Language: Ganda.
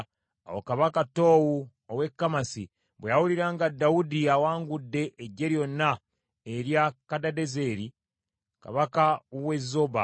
Awo kabaka Toowu ow’e Kamasi bwe yawulira nga Dawudi awangudde eggye lyonna erya Kadadezeri, kabaka w’e Zoba